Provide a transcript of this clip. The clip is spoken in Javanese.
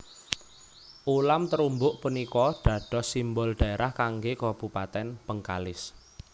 Ulam terubuk punika dados simbol dhaerah kanggé kabupatèn Bengkalis